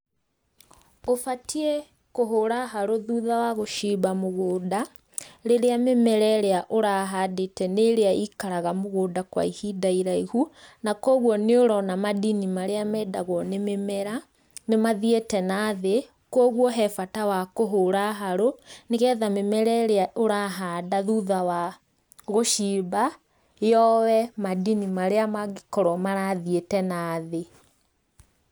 Ũbatie kũhũra harũ thutha wa gũcimba mũgũnda, rĩrĩa mĩmera ĩrĩa ũrahandĩte nĩ ĩrĩa ĩikaraga mũgũnda kwa ihinda iraihu, na kogwo nĩ ũrona madini marĩa mendagwo nĩ mĩmera, nĩ mathiĩte nathĩ, kogwo he bata wa kũhũra harũ, nĩgetha mĩmera ĩrĩa ũrahanda thutha wa gũcimba yoe madini marĩa mangĩkorwo marathiĩte nathĩ.